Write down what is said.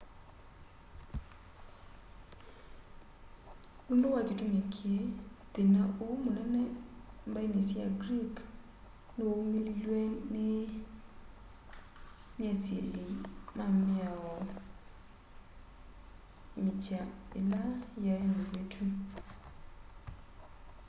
nũndũ wa kĩtũmĩ kĩĩ thĩna ũũ mũnene mbaĩnĩ sya greek nĩwaũmĩlĩlwe nĩ nĩ asĩlĩ ma mĩao mĩkya ĩla yaĩ mĩvĩtũ